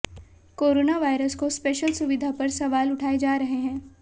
corona warriors को special सुविधा पर सवाल उठाए जा रहे हैं